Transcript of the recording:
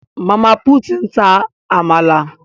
Mama put n ta àmàlà